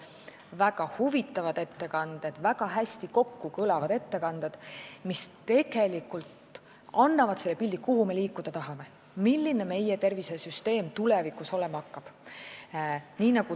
Väga huvitavad ettekanded ja väga hästi kokkukõlavad ettekanded, mis andsid pildi sellest, kuhu me liikuda tahame, milline meie tervishoiusüsteem tulevikus olema hakkab.